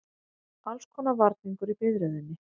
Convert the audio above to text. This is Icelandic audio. Allskonar varningur í biðröðinni.